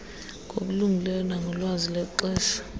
ngokulungileyo nangolwazi lexesha